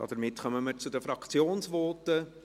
Damit kommen wir zu den Fraktionsvoten.